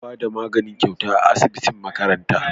Ana Bada magani gyauta a asibitin makaranta